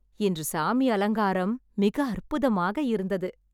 இன்று சாமி அலங்காரம் மிக அற்புதமாக இருந்தது